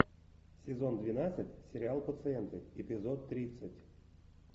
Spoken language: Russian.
сезон двенадцать сериал пациенты эпизод тридцать